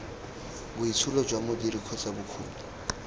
boitsholo jwa modiri kgotsa bokgoni